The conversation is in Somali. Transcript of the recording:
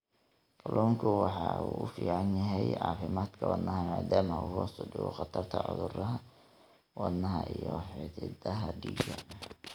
Kalluunku waxa uu u fiican yahay caafimaadka wadnaha maadaama uu hoos u dhigo khatarta cudurrada wadnaha iyo xididdada dhiigga.